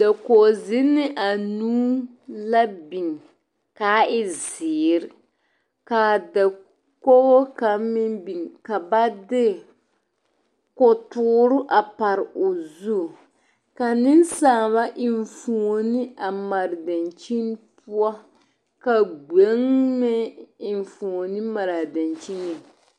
Dakogi zenne anuu la biŋ kaa e ziiri kaa dakogi kaŋa meŋ biŋ ka ba de kotɔɔre a pare o zu ka nensaalba enfuune mare dankyini poɔ ka gbeŋe meŋ enfuune mara dankyini.